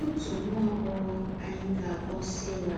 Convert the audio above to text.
Òtù nwá àgbọ́ghọ̀ ányị̀ gà-akpọ̀ Sera